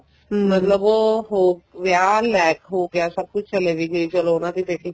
ਮਤਲਬ ਉਹ ਹੋ ਵਿਆਹ ਹੋ ਗਿਆ ਸਭ ਕੁੱਛ ਚਲੇ ਵੀ ਗਏ ਚਲੋ ਉਹਨਾ ਦੀ ਬੇਟੀ